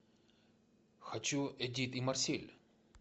хочу эдит и марсель